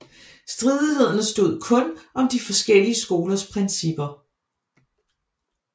Stridighederne stod kun om de forskellige skolers principper